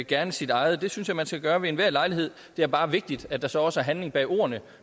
gerne sit eget det synes jeg man skal gøre ved enhver lejlighed det er bare vigtigt at der så også er handling bag ordene